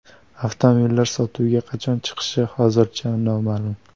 Avtomobillar sotuvga qachon chiqishi hozircha noma’lum.